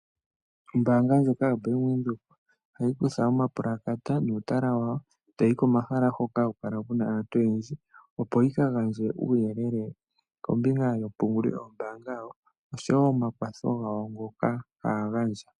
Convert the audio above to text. Ombaanga ndjoka yoBank Windhoek ohayi kutha omapulakata nuutala wawo, etayi yi komahala hoka haku kala aantu oyendji opo yi kagandje uuyelele kombinga yompungulilo yawo, oshowo omakwatho gawo ngoka haya gandja.